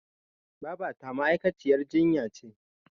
Babata ma'aikaciyar jinya ce.